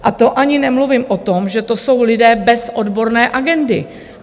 A to ani nemluvím o tom, že to jsou lidé bez odborné agendy.